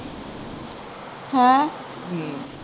ਹਾਂ